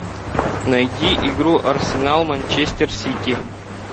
найди игру арсенал манчестер сити